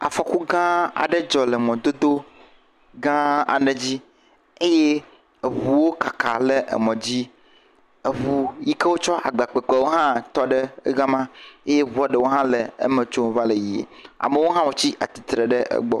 Afɔku gã aɖe dzɔ le mɔa dzi eye eŋuwo kaka le mɔ dzi. Eŋu yike wo kɔ agba kpekpe wo hã tɔ ɖe ga ma eye eŋua ɖewo hã le eme tsom va le yiyim. Amewo hã tsi atsitre ɖe egbɔ.